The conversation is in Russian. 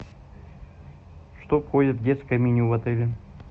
что входит в детское меню в отеле